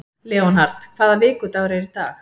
Leonhard, hvaða vikudagur er í dag?